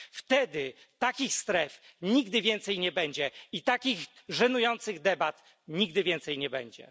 Wtedy takich stref nigdy więcej nie będzie i takich żenujących debat nigdy więcej nie będzie.